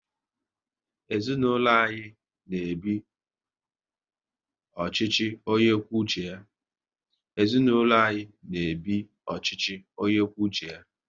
Ezinaụlọ anyị n'ebi ọchịchị onye kwuo uche ya